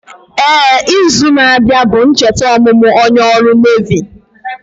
Éè, izu na abịa bụ ncheta ọmụmụ onye ọrụ Nevi